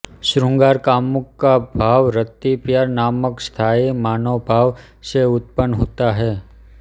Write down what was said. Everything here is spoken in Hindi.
शृंगार कामुक का भाव रति प्यार नामक स्थायी मानोभाव से उत्पन्न होता है